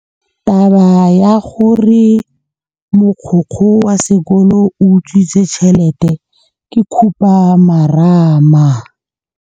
Taba ya gore mogokgo wa sekolo o utswitse tšhelete ke khupamarama.